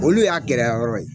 Olu y'a gɛlɛyayɔrɔ ye